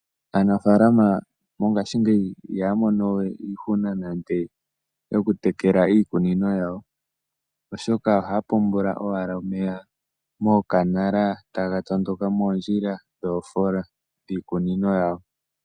Aanafalama mongaashingeyi ihaya mono we iihuna nande oku tekela iikunino yawo, oshoka ohaya pungula owala omeya mookanala taga tondoka mondjila dhoofola dhiikunino yawo.